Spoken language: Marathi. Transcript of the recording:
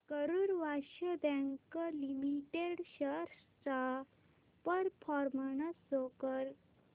Karur Vysya bank limited shares चा परफॉर्मन्स शो कर